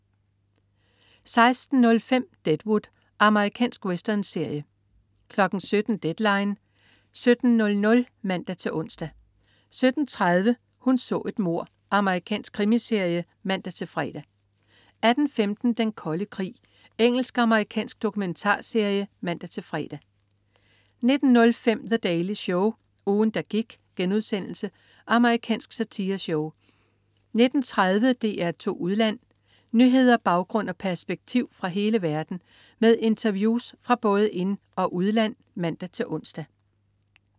16.05 Deadwood. Amerikansk westernserie 17.00 Deadline 17.00 (man-ons) 17.30 Hun så et mord. Amerikansk krimiserie (man-fre) 18.15 Den Kolde Krig. Engelsk/amerikansk dokumentarserie (man-fre) 19.05 The Daily Show. Ugen der gik.* Amerikansk satireshow 19.30 DR2 Udland. Nyheder, baggrund og perspektiv fra hele verden med interviews fra både ind- og udland (man-ons)